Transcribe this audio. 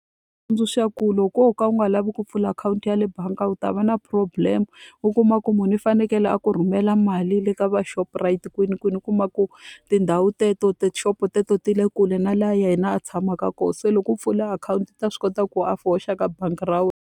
Tsundzuxa ku loko wo ka u nga lavi ku pfula akhawunti ya le bangi u ta va na problem. U kuma ku munhu i fanekele a ku rhumela mali le ka va Shoprite kwinikwini, u kuma ku tindhawu teto tixopo teto ti le kule na laha yena a a tshamaka kona. Se loko u pfula akhawunti u ta swi kota ku a hoxa ka bangi ra wena.